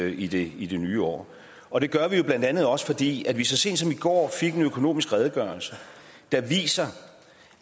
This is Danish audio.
i det i det nye år og det gør vi jo blandt andet også fordi vi så sent som i går har fået en økonomisk redegørelse der viser